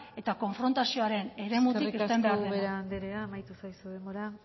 eta konfrontazioren eremutik eten behar dela eskerrik asko ubera andrea amaitu zaizu denbora